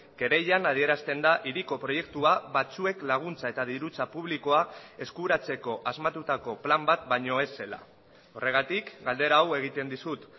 kereilan adierazten da hiriko proiektua batzuek laguntza eta dirutza publikoa eskuratzeko asmatutako plan bat baino ez zela horregatik galdera hau egiten dizut